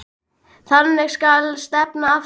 Þangað skal stefnan aftur tekin.